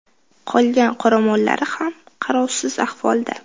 Qolgan qoramollari ham qarovsiz ahvolda.